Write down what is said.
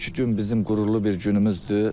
Bugünkü gün bizim qürurlu bir günümüzdür.